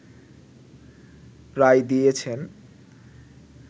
রায় দিয়েছেন